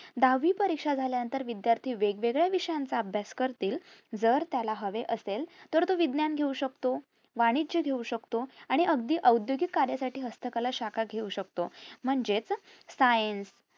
दहावी परीक्षा झाल्यानंतर विद्यार्थी वेगवेळ्या विषयांचा अभ्यास करतील जर त्याला हवे असेल तर तो विज्ञान घेऊ शकतो वाणिज्य घेऊ शकतो आणि अगदी ओद्योगिक कार्य साठी हस्तकला शाखा घेऊ शकतो म्हणजेच science